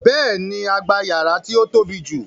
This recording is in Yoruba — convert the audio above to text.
Béèni, a gba yàrá tí ó tóbi jù